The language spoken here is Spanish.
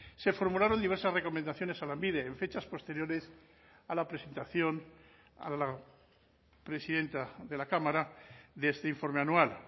se formularon diversas recomendaciones a lanbide en fechas posteriores a la presentación a la presidenta de la cámara de este informe anual